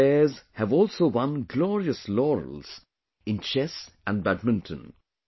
Our players have also won glorious laurels in chess and badminton